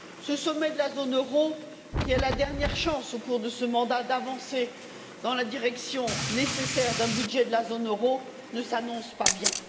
Ce sommet de la zone euro, qui est la dernière chance, au cours de ce mandat, d'avancer dans la direction nécessaire d'un budget de la zone euro, ne s'annonce pas bien.